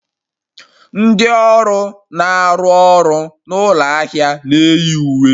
Ndị ọrụ na-arụ ọrụ n'ụlọ ahịa na-eyi uwe